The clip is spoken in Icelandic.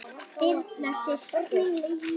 Birna systir.